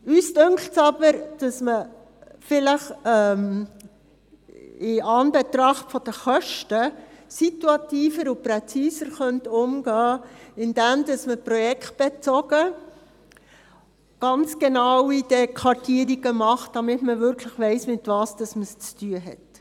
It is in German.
Uns dünkt es aber, dass man in Anbetracht der Kosten situativer und präziser umgehen könnte, indem man projektbezogen ganz genaue Kartierungen macht, damit man wirklich weiss, womit man es zu tun hat.